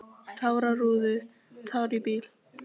Kannski hann langi líka til þess!